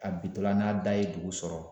A bi to la n'a da ye dugu sɔrɔ